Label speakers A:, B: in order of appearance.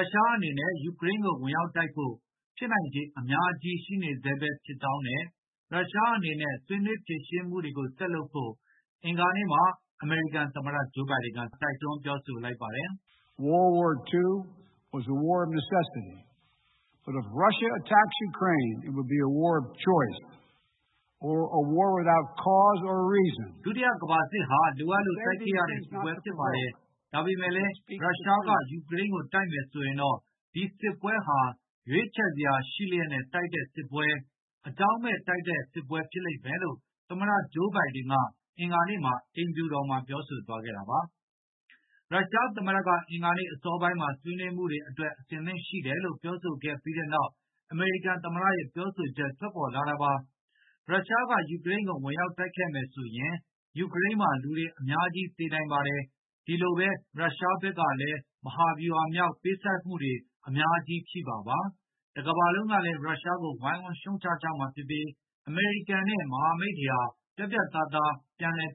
A: ုရှားအနေနဲ့ ယူကရိန်းကို ဝင်ရောက်တိုက်ဖို့ ဖြစ်နိုင်ခြေအများကြီးရှိနေကြောင်း နဲ့ ရုရှားဟာ ဆွေးနွေးဖြေရှင်းမှုတွေဆက်လုပ်ဖို့ တိုက်တွန်းကြောင်း အင်္ဂါနေ့က သမ္မတ ဘိုင်ဒင်က ပြောပါတယ်။ “ဒုတိယကမ္ဘာစစ်ဟာ လိုအပ်လို့ တိုက်ခဲ့
B: ရတဲ့ စစ်ပ
A: ွဲဖြစ်ပါတယ်။ ဒါပေမယ့်လည်း ရုရှားက ယူကရိန်းကို တိုက်မယ်ဆိုရင်တော့ ဒီစစ်ပွဲဟာရွေးချယ်စရာရှိလျက်နဲ့ တိုက်တဲ့စစ်ပွဲ၊ အကြောင်းမဲ့တိုက်တဲ့စစ်ပွဲဖြစ်လိမ့်မယ်လို့” သမတဂျိုးဘိုင်ဒင် က ပြောဆိုသွားတာပါ။ ရုရှားသမ္မတက အင်္ဂါနေ့ အစောပိုင်းမှာ ဆွေးနွေးမှုတွေအတွက် အဆင်သင့်ရှိတယ်လို့ ပြောဆိုခဲ့ပြီးနောက် အမေရိကန်သမ္မတရဲ့ ပြောဆိုချက်ထွက်ပေါ်လာတာပါ။ ရုရှားက ယူကရိန်းကို ဝင်ရောက်တိုက်ခဲ့မယ်ဆိုရင် ယူကရိန်းမှာ လူတွေအများကြီး သေနိုင်ပါတယ်။ ဒီလိုဘဲ ရုရှားဘက်ကလည်း မဟာဗျူဟာမြောက် ပေးဆပ်ရမှုတွေ အများကြီးဖြစ်မှာပဲ ၊ တကမ္ဘာလုံးကလည်း ရုရှားကိုဝိုင်းဝန်းရှုံ့ချကြမှာဖြစ်ပြီး၊ အမေရိကန် မဟာမိတ်တွေကလည်း ပြတ်ပြတ်သားသား